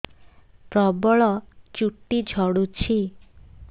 ପ୍ରବଳ ଚୁଟି ଝଡୁଛି